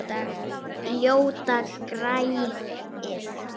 Ljóta greyið.